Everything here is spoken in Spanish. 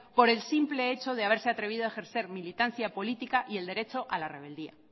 por el simple hecho de haberse atrevido a ejercer militancia política y el derecho a la rebeldía